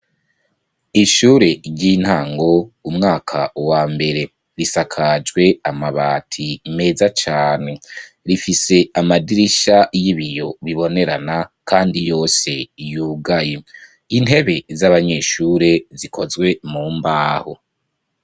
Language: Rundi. Ishure ry'intango, umwaka wa mbere. Risakajwe amabati meza cane rifise amadirisha y'ibiyo bibonerana kandi yose yugaye. Intebe z'abanyeshure zikozwe mu mbaho.